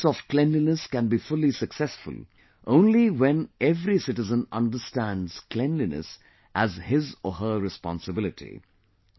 the efforts of cleanliness can be fully successful only when every citizen understands cleanliness as his or her responsibility